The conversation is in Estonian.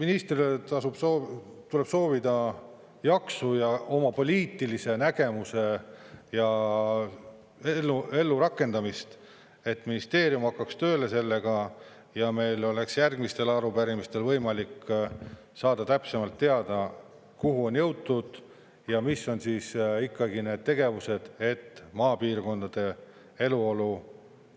Ministrile tuleb soovida jaksu ja oma poliitilise nägemuse ellurakendamist, et ministeerium hakkaks tööle sellega ja meil oleks järgmistel arupärimistel võimalik saada täpsemalt teada, kuhu on jõutud ja mis on ikkagi need tegevused, et maapiirkondade eluolu